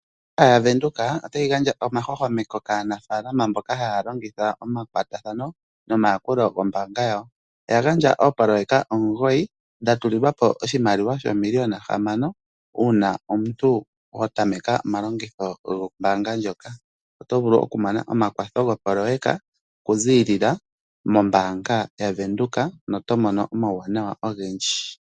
Ombaanga yaWindhoek otayi gandja omahwahwameko kaanafaalama mboka haya longitha omakwatathano nombaanga yawo. Oya gandja oopoloyeka omugoyi dha tulilwa po oshimaliwa shoomiliyona hamano, omuntu wa tameka omalongitho gombaanga mdjoka oto vulu oku mona okwatho gopoloyeka okuziilila mombaanga yaWindhoek noto mono omauwanawa ogendji.